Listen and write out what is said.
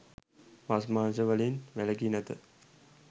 මස් මාංශ වලින් වැලකී නැත.